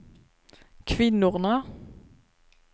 kvinnorna